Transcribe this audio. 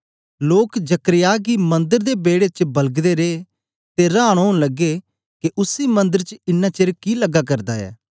लोक जकर्याह गी मंदर दे बेड़े च बलगदे रे ते रांन ओन लग्गे के उसी मंदर च इन्ना चेर कि लग्गा करदा ऐ